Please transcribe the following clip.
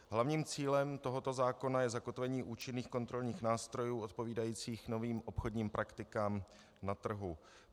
Hlavním cílem tohoto zákona je zakotvení účinných kontrolních nástrojů odpovídajících novým obchodním praktikám na trhu.